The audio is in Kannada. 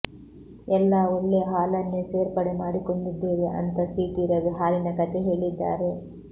ಎಲ್ಲಾ ಒಳ್ಳೇ ಹಾಲನ್ನೇ ಸೇರ್ಪಡೆ ಮಾಡಿಕೊಂಡಿದ್ದೇವೆ ಅಂತಾ ಸಿಟಿ ರವಿ ಹಾಲಿನ ಕಥೆ ಹೇಳಿದ್ದಾರೆ